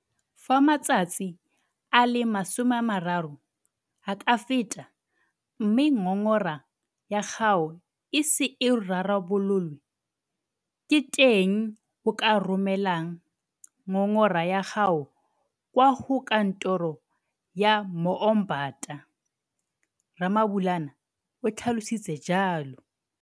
Fa matsatsi a le 30 a ka feta mme ngongora ya gago e ise e rarabololwe, ke teng mo o ka romelang ngongora ya gago kwa go Kantoro ya Moombata, Ramabulana o tlhalositse jalo.